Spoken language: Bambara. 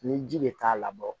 Ni ji de t'a labɔ